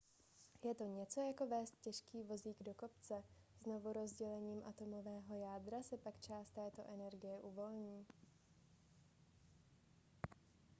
je to něco jako vézt těžký vozík do kopce znovurozdělením atomového jádra se pak část této energie uvolní